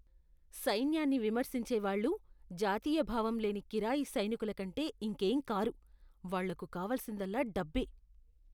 సైన్యాన్ని విమర్శించే వాళ్ళు జాతీయ భావం లేని కిరాయి సైనికుల కంటే ఇంకేం కారు. వాళ్ళకు కావలసిందల్లా డబ్బే.